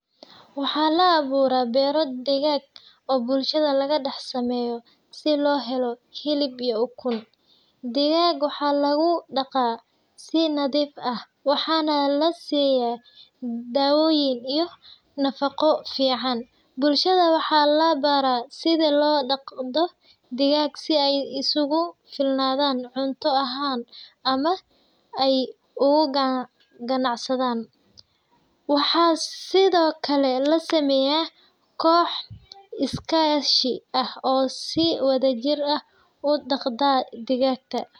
Waxaa laaburaah bero digag oo bulshada lagadax sameyo si lohelo hilib uyo ukun , digag waxaa lugudaqaah si nadif ah waxaa na lasiyaah dawoyin iyo nafaqo fican. Bulshada waxaa labarah sida lodaqdo digag si ay isugufilnadan cunto ahaan ama ay ugaganacsadan. Waxaa sidokale lasameyaah koox iskashi ah oo si wada jir ah udaqdan digagta.